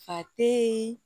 Fa teyi